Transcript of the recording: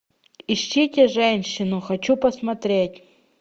ищите женщину хочу посмотреть